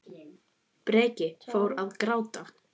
Breki: Fór hann að gráta?